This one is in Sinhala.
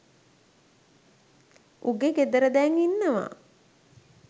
උගේ ගෙදර දැන් ඉන්නව